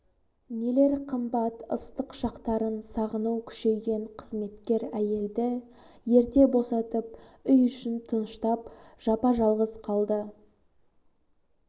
нелер қымбат ыстық шақтарын сағыну күшейген қызметкер әйелді ерте босатып үй ішін тыныштап жапа жалғыз қалды